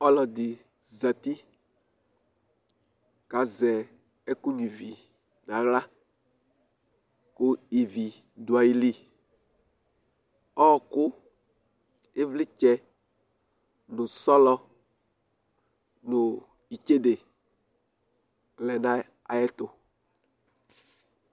Ɔlɔdɩ zati kʋ azɛ ɛkʋnyuǝ ivi nʋ aɣla kʋ ivi dʋ ayili Ɔɣɔkʋ, ɩvlɩtsɛ nʋ sɔlɔ nʋ itsede lɛ nʋ ayɛtʋ